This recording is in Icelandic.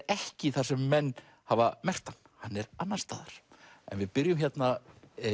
ekki þar sem menn hafa merkt hann hann er annars staðar en við byrjum hérna